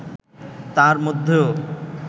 তার মধ্যেও